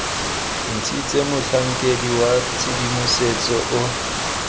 ntshitswe motlhankedi wa tshedimosetso o